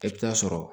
I bɛ taa sɔrɔ